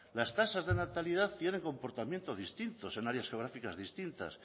las tasas de natalidad tiene comportamientos distintos en áreas geográficas distintas